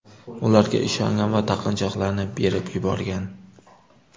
ularga ishongan va taqinchoqlarni berib yuborgan.